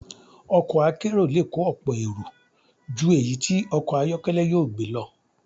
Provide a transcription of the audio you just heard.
Ọkọ̀ akérò le kó ọ̀pọ̀ èrò ju èyí tí okò ayọ́kẹ́lẹ́ yóò gbé lọ.